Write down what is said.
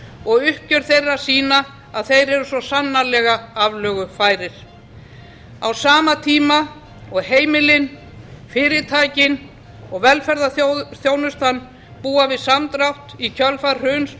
og uppgjör þeirra sýna að þeir eru svo sannarlega aflögufærir á sama tíma og heimilin fyrirtækin og velferðarþjónustan búa við samdrátt í kjölfar hruns